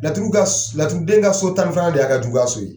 Laturu den ka so tan ni filanan de y'a ka juguya so ye.